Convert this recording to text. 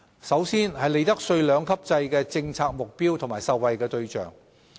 首先是利得稅兩級制的政策目標和受惠對象。